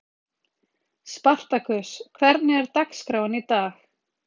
Spartakus, hvernig er dagskráin í dag?